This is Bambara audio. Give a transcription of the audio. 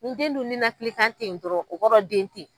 Ni den dun ninakilikan tenyi dɔrɔn o kɔrɔ ye den tenyi.